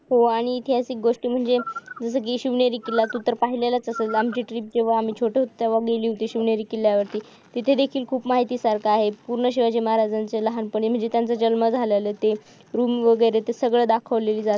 पूर्ण शिवाजी महाराजच लहानपणी म्हणजे त्याच जन्म झालं ते रूम वगैरे ते सगळं दाखवलेली जाते